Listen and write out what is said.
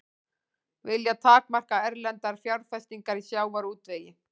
Vilja takmarka erlendar fjárfestingar í sjávarútvegi